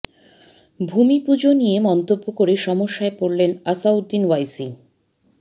ভূমি পুজো নিয়ে মন্তব্য করে সমস্যায় পড়লেন আসাদউদ্দিন ওয়াইসি